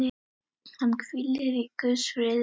Hann hvíli í Guðs friði.